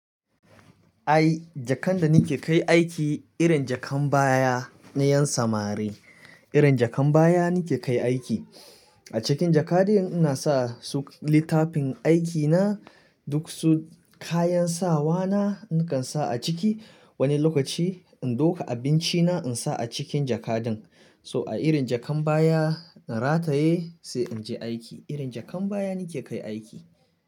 Ai, jakan da nike kai aiki irin jakan baya na 'yan samari. Irin jakan baya nike kai aiki. A cikin jaka din ina sa su littafin aikina, duk su kayan sawa na nakan sa a ciki. Wani lokaci in duka abinci na insa a cikin jaka din. So a irin jakan baya in rataye sai inje aiki. Irin jakan baya nike kai aiki.